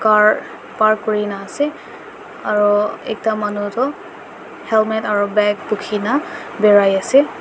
car park kori na ase aru ekta manu tu helmet aru bag bukhe na berai ase.